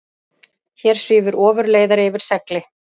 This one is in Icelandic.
Hér svífur ofurleiðari yfir segli.